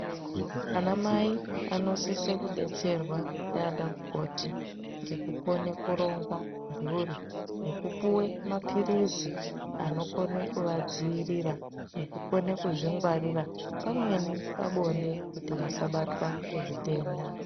Anamai anosise kudetserwa ndiana mukoti ngekukone kuronga mhuri nekupuwe maphirizi anokone kuadziirira nekukone kuzvingwarira pamweni pabonde kuti vasabatwa ngezvitenda.